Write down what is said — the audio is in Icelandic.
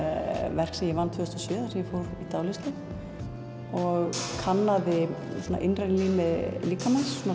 verk sem ég vann tvö þúsund og sjö þar sem ég fór í dáleiðslu og kannaði svona innra rými líkamans svona